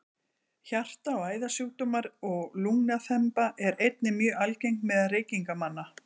hjarta og æðasjúkdómar og lungnaþemba eru einnig mjög algeng meðal reykingamanna